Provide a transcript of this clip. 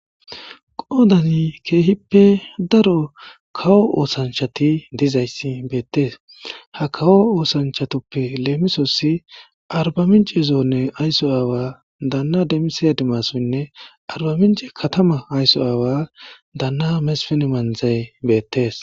Qoodan keehipe daro kawo osanichati betes.ha kawo osanchatippe lemisuwa arbaminche katama ayso awa adimasunne katama ayso awa dana mesin manzay beettes